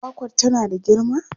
Kwakwar tana da girma?